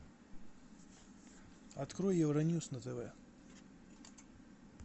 открой евроньюс на тв